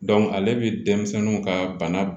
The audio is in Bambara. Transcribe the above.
ale bi denmisɛnninw ka bana b